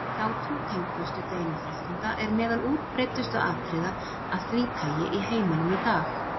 Hjátrú tengd föstudeginum þrettánda er meðal útbreiddustu atriða af því tagi í heiminum í dag.